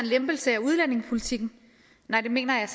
lempelse af udlændingepolitikken nej det mener jeg